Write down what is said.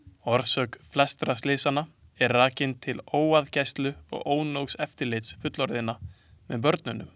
Orsök flestra slysanna er rakin til óaðgæslu og ónógs eftirlits fullorðinna með börnunum.